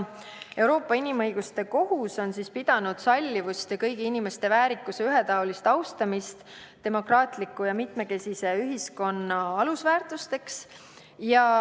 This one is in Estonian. Euroopa Inimõiguste Kohus on pidanud sallivust ja kõigi inimeste väärikuse ühetaolist austamist demokraatliku ja mitmekesise ühiskonna alusväärtusteks.